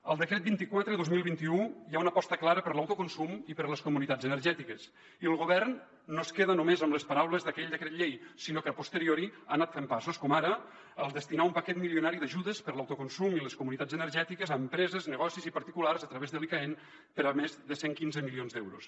al decret vint quatre dos mil vint u hi ha una aposta clara per l’autoconsum i per les comunitats energètiques i el govern no es queda només amb les paraules d’aquell decret llei sinó que a posteriori ha anat fent passos com ara destinar un paquet milionari d’ajudes per l’autoconsum i les comunitats energètiques a empreses negocis i particulars a través de l’icaen per més de cent i quinze milions d’euros